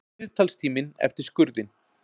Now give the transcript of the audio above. Viðtalstíminn eftir skurðinn.